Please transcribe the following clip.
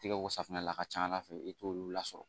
Tɛgɛ ko safunɛ la a ka ca ala fɛ i t'olu lasɔrɔ